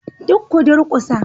Duk ku durkusa